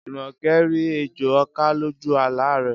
Jùmọ̀kẹ́ rí ejò ọká lójú àlá rẹ̀